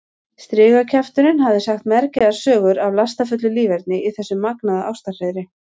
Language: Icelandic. Strigakjafturinn hafði sagt mergjaðar sögur af lastafullu líferni í þessu magnaða ástarhreiðri.